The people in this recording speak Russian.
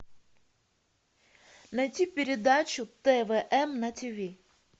найти передачу твм на тв